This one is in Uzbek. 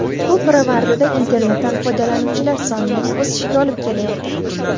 Bu pirovardida internetdan foydalanuvchilar sonining o‘sishiga olib kelayotir.